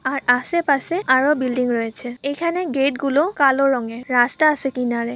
আর আশেপাশে আরো বিল্ডিং রয়েছে। এখানে গেট গুলো কালো রঙের রাস্তা আসে কিনারে।